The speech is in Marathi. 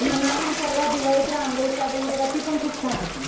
मनाली ने परवा दिवाळीत रांगोळी काढलेली बघा ती पण खूप छान होती.